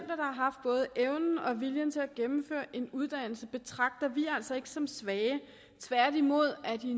har haft både evnen og viljen til at gennemføre en uddannelse betragter vi altså ikke som svage tværtimod er de